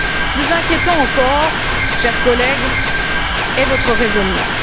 Plus inquiétant encore, chers collègues, est votre raisonnement.